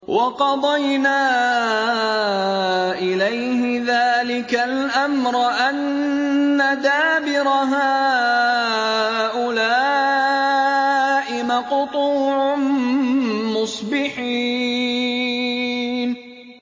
وَقَضَيْنَا إِلَيْهِ ذَٰلِكَ الْأَمْرَ أَنَّ دَابِرَ هَٰؤُلَاءِ مَقْطُوعٌ مُّصْبِحِينَ